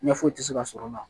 Ɲɛ foyi tɛ se ka sɔrɔ o la